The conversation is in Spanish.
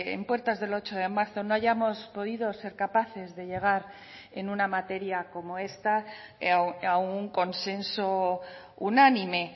en puertas del ocho de marzo no hayamos podido ser capaces de llegar en una materia como esta a un consenso unánime